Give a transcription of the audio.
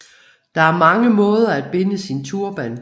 Der er mange måder at binde sin turban